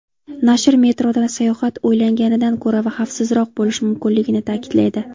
Nashr metroda sayohat o‘ylanganidan ko‘ra xavfsizroq bo‘lishi mumkinligini ta’kidlaydi.